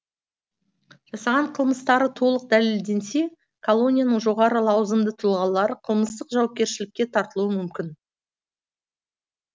жасаған қылмыстары толық дәлелденсе колонияның жоғары лауазымды тұлғалары қылмыстық жауапкершілікке тартылуы мүмкін